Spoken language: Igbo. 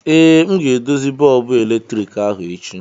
ee, m ga-edozi bọọbụ eletriki ahụ echi